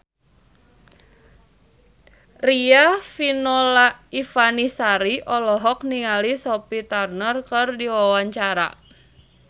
Riafinola Ifani Sari olohok ningali Sophie Turner keur diwawancara